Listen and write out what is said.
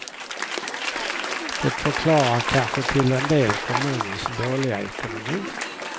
Det förklarar kanske till en del kommunens dåliga ekonomi.